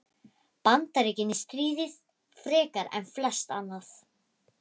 Bandaríkin í stríðið frekar en flest annað.